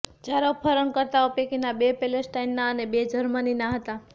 ચાર અપહરણકર્તાઓ પૈકીના બે પેલેસ્ટાઇનના અને બે જર્મનીના હતા